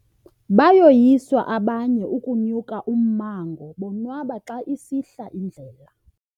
Bayoyiswa abanye ukunya ummango bonwaba xa isihla indlela.